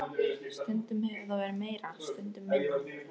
Stundum hefur það verið meira, stundum minna.